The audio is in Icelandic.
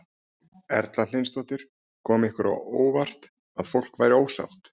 Erla Hlynsdóttir: Kom ykkur á óvart að fólk væri ósátt?